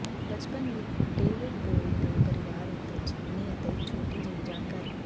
ਬਚਪਨ ਵਿਚ David Bowie ਦੇ ਪਰਿਵਾਰ ਉੱਤੇ ਜੀਵਨੀ ਅਤੇ ਇੱਕ ਛੋਟੀ ਜਿਹੀ ਜਾਣਕਾਰੀ